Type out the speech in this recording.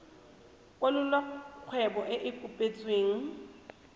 kwalolola kgwebo e e kopetsweng